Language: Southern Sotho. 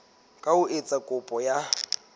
ka ho etsa kopo ya